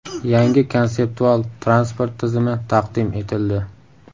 Yangi konseptual transport tizimi taqdim etildi .